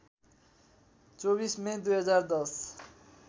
२४ May २०१०